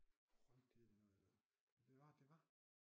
Røvkedeligt noget det var det var